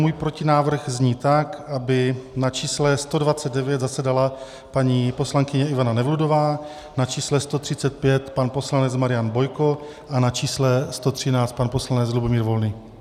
Můj protinávrh zní tak, aby na čísle 129 zasedala paní poslankyně Ivana Nevludová, na čísle 135 pan poslanec Marian Bojko a na čísle 113 pan poslanec Lubomír Volný.